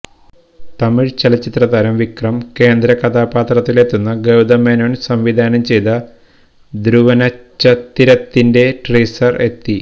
തമിഴ് ചലച്ചിത്ര താരം വിക്രം കേന്ദ്രകഥാപാത്രത്തിൽ എത്തുന്ന ഗൌതം മേനോൻ സംവിധാനം ചെയ്ത ധ്രുവനച്ചത്തിരത്തിന്റെ ടീസർ എത്തി